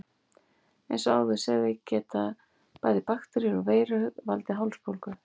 Eins og áður sagði geta bæði bakteríur og veirur valdið hálsbólgu.